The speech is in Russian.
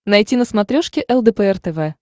найти на смотрешке лдпр тв